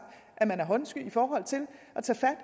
at man er håndsky i forhold til at tage fat